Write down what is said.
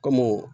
Kɔmi